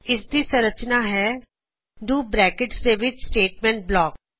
ਇਸ ਦੀ ਸੰਰਚਨਾਂ ਹੈ ਡੂ ਬਰੈਕਟਾ ਦੇ ਵਿਚ ਸਟੇਟਮੈਂਟ ਬਲਾਕ